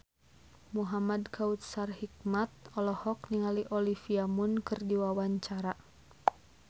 Muhamad Kautsar Hikmat olohok ningali Olivia Munn keur diwawancara